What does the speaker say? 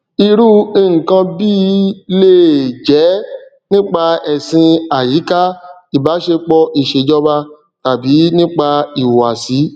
irú nkan bíi le è jẹ nípa ẹsìn àyíká ìbáṣepọ ìṣèjọba tàbí nípa ìhùwàsí